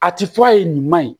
A ti fɔ a ye nin ma ɲi